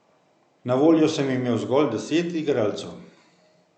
Na voljo sem imel zgolj deset igralcev.